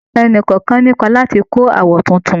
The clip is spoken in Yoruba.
Ẹnì kọ̀ọ̀kan ní ipá láti kọ́ àwọ̀ tuntun